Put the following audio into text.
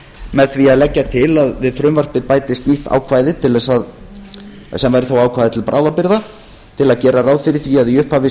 með því að leggja til að við frumvarpið bætist nýtt ákvæði sem væri þá ákvæði til bráðabirgða til að gera ráð fyrir því að í upphafi